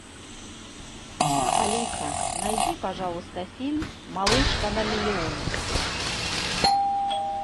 алиса найди пожалуйста фильм малышка на миллион